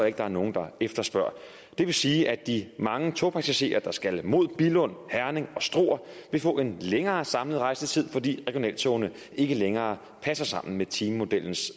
ikke der er nogen der efterspørger det vil sige at de mange togpassagerer der skal mod billund herning og struer vil få en længere samlet rejsetid fordi regionaltogene ikke længere passer sammen med timemodellens